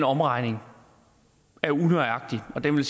omregning er unøjagtig og vil